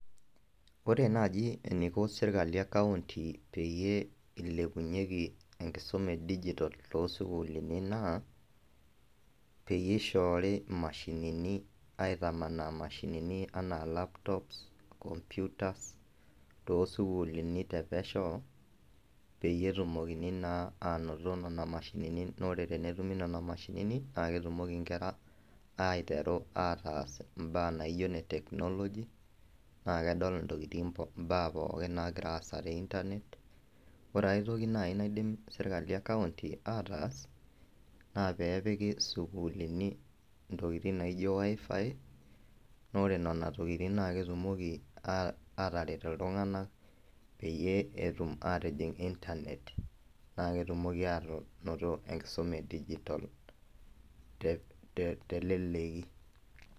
Ore naji eniko serkali ekaunti peyie ilepunyeki enkisuma edijitol tosukuulini naa, peyie ishoori imashinini aitamanaa mashinini anaa laptops, computers, tosukuulini tempesho, peyie etumokini naa anoto nena mashinini. Nore tenetumi nena mashinini, na ketumoki nkera aiteru ataas imbaa naijo ne technology, na kedol intokiting imbaa pookin nagira aas te Internet. Ore aitoki nai naidim sirkali ekaunti ataas, naa pepiki sukuulini intokiting naijo WiFi, nore nena tokiting na ketumoki ataret iltung'anak peyie etum atijing Internet. Na ketumoki anoto enkisuma edijitol teleleki.